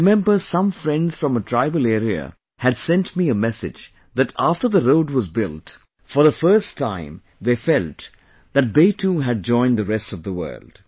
I remember some friends from a tribal area had sent me a message that after the road was built, for the first time they felt that they too had joined the rest of the world